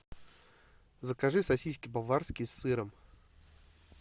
закажи сосиски баварские с сыром